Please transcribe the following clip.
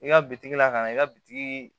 I ka bitigi la ka na i ka bitigi